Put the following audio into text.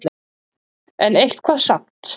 En eitthvað samt.